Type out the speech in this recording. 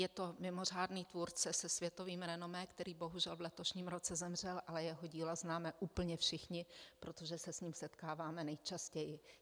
Je to mimořádný tvůrce se světovým renomé, který bohužel v letošním roce zemřel, ale jeho dílo známe úplně všichni, protože se s ním setkáváme nejčastěji.